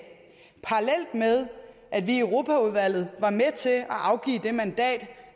parallelt med at vi i europaudvalget var med til at afgive det mandat